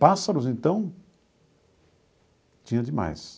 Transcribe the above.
Pássaros, então, tinha demais.